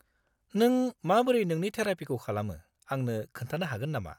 नों माबोरै नोंनि थेरापिखौ खालामो आंनो खोन्थानो हागोन नामा?